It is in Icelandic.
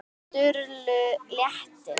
Sturlu létti.